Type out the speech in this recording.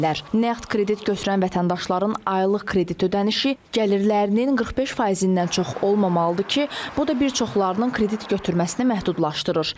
Nağd kredit götürən vətəndaşların aylıq kredit ödənişi gəlirlərinin 45%-dən çox olmamalıdır ki, bu da bir çoxlarının kredit götürməsini məhdudlaşdırır.